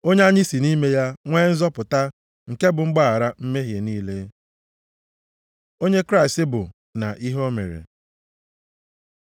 Onye anyị si nʼime ya nwee nzọpụta, nke bụ mgbaghara mmehie niile. Onye Kraịst bụ, na ihe o mere